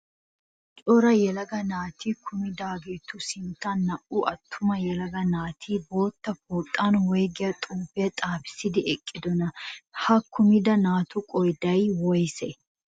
Cora yelaga naati kumidaageetu sinttan naa''u attuma yelaga naati bootta pooxan woyigiya xuupiyaa xaapissidi eqqidonaa? Ha kumida naatu qoodayi woyisee?